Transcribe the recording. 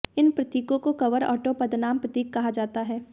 इन प्रतीकों को cover auto पदनाम प्रतीक कहा जाता है